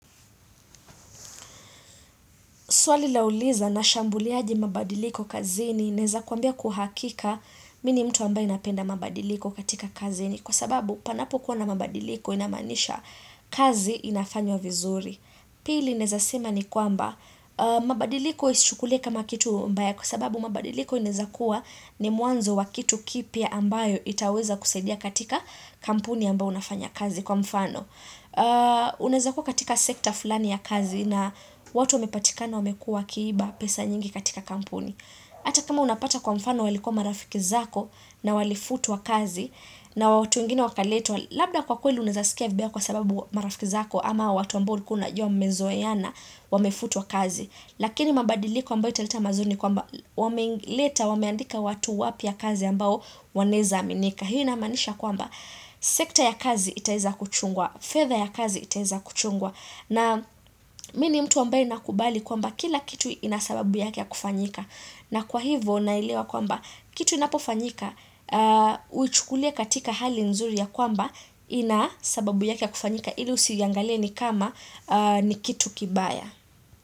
Swali lauliza nashambuliaje mabadiliko kazini naeza kuambia kwa uhakika mi ni mtu ambaye napenda mabadiliko katika kazini kwa sababu panapo kuwa na mabadiliko inamaanisha kazi inafanywa vizuri. Pili naeza sema ni kwamba mabadiliko usichukulie kama kitu mbaya kwa sababu mabadiliko ineza kuwa ni mwanzo wa kitu kipya ambayo itaweza kusaidia katika kampuni ambao unafanya kazi kwa mfano. Unaeza kwa katika sekta fulani ya kazi na watu wamepatikana wamekua wakiiba pesa nyingi katika kampuni Ata kama unapata kwa mfano walikua marafiki zako na walifutwa kazi na watu wengine wakaletwa, labda kwa kweli unaeza sikia vibaya kwa sababu marafiki zako ama watu ambao ulikuwa unajua mmezoeana wamefutuwa kazi Lakini mabadiliko ambayo italeta mazuri ni kwamba wameandika watu wapya kazi ambao wanaeza aminika Hii inamanisha kwamba, sekta ya kazi itaeza kuchungwa, fedha ya kazi itaeza kuchungwa na mi ni mtu ambae nakubali kwamba kila kitu ina sababu yake ya kufanyika na kwa hivo, naelewa kwamba, kitu inapofanyika, uichukulie katika hali nzuri ya kwamba ina sababu yake ya kufanyika, ili usiiangalie ni kama ni kitu kibaya.